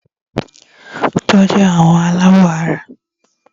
Tọ́jú àwọn alábọ̀ara!